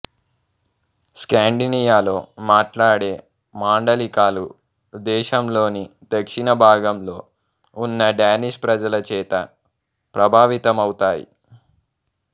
స్కాండినియాలో మాట్లాడే మాండలికాలు దేశంలోని దక్షిణ భాగంలో ఉన్న డానిష్ ప్రజల చేత ప్రభావితమవుతాయి